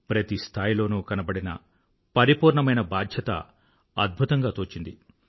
ప్రతి స్థాయిలోనూ కనబడిన పరిపూర్ణమైన బాధ్యత అద్భుతంగా తోచింది